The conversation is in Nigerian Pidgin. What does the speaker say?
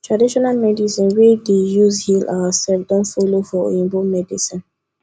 traditional medicine we dey use heal ourself don follow for oyibo medicine